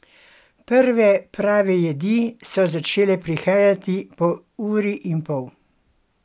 Prve prave jedi so začele prihajati po uri in pol.